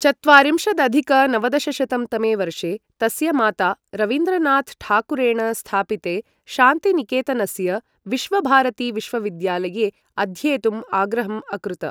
चत्वारिंशदधिक नवदशशतं तमे वर्षे, तस्य माता, रवीन्द्रनाथ ठाकुरेण स्थापिते शान्तिनिकेतनस्य विश्वभारतीविश्वविद्यालये अध्येतुम् आग्रहम् अकृत।